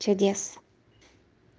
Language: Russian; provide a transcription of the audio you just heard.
чудес